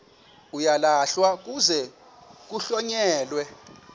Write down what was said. uyalahlwa kuze kuhlonyelwe